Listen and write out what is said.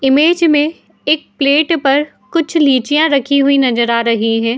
Image में एक plate पर कुछ लीचियां रखी हुई नजर आ रही हैं।